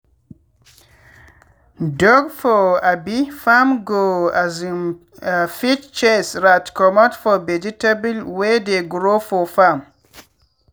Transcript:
dog for um farm go um fit chase rat comot for vegetable wey dey grow for farm.